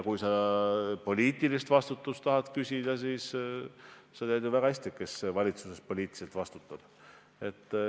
Kui sa poliitilise vastutuse kohta tahad küsida, siis sa tead ju väga hästi, kes valitsuses poliitiliselt vastutab.